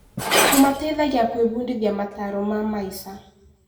Kũmateithagia gwĩbundithia mataaro ma maica.